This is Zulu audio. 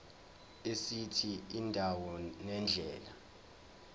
esithi indawo nendlela